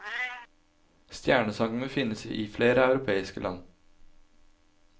Stjernesangene finnes i flere europeiske land.